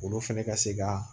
Olu fɛnɛ ka se ka